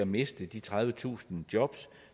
miste de tredivetusind jobs